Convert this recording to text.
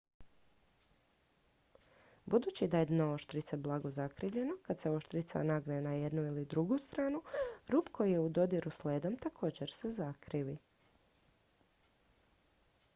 budući da je dno oštrice blago zakrivljeno kad se oštrica nagne na jednu ili drugu stranu rub koji je u dodiru s ledom također se zakrivi